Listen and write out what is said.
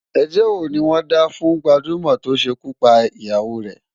Ẹjọ́ wo ni wọ́n dá fún gbajúmọ̀ tó ṣekú pa ìyàwó rè?